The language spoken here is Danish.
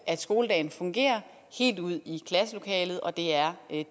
at skoledagen fungerer helt ud i klasselokalet og det er